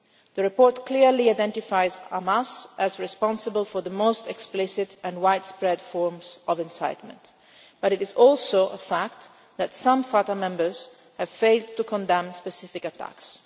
The report clearly identifies Hamas as responsible for the most explicit and widespread forms of incitement, but it is also a fact that some Fatah members have failed to condemn specific